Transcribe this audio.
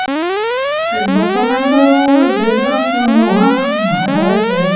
বৰ্তমান তো develop নোহোৱা বুলি নহয় , হৈছে।